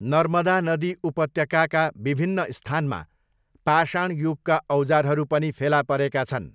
नर्मदा नदी उपत्यकाका विभिन्न स्थानमा पाषाण युगका औजारहरू पनि फेला परेका छन्।